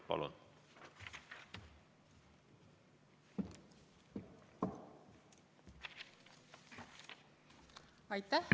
Palun!